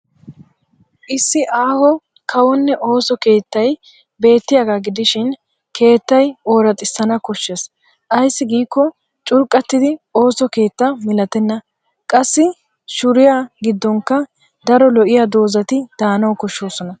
Issi aaho kawonne ooso keettay beettiyaagaa gidishin keettay oraxissana woshshes ayssi giikko curqqattiddi ooso keettay milatenna. Qassi shuuriya giddonkka daro lo'iya doozzati daanawu koshshoosona.